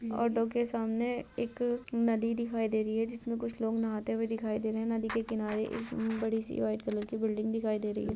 Auto के सामने एक नदी दिखाई दे रही है इसमें कुछ लोग नाहते हुए दिखाई दे रहे है नदी के किनारे बड़ी-सी व्हाइट कलर की बिल्डिंग दिखाई दे रही है।